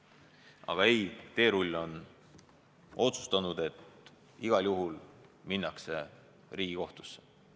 Aga ei, teerull on otsustanud, et igal juhul minnakse Riigikohtusse.